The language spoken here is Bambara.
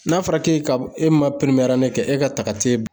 N'a fɔra k'e ka, e ma kɛ e ka ta ka t'e